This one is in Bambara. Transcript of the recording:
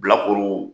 Bilakoro